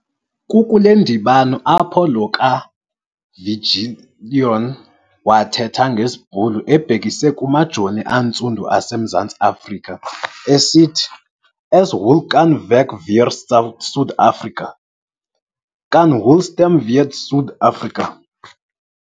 Kukule ndibano apho lo kaviljoen wathetha ngesiBhulu ebhekisa kumajoni antsundu aseMzantsi Afrika esithi - As hulle kan veg vir Suid-Afrika, kan hulle stem vir Suid-Afrika!